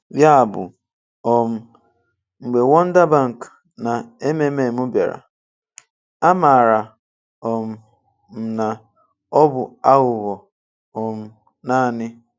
Ya bụ, um mgbe Wonder Bank na MMM bịara, amara um m na ọ bụ aghụghọ um naanị.